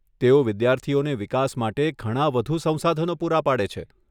તેઓ વિદ્યાર્થીઓને વિકાસ માટે ઘણા વધુ સંસાધનો પૂરા પાડે છે.